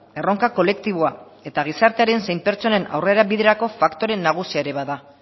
erronka kolektiboa eta gizartearen zein pertsonen aurrerabiderako faktore nagusia ere ba da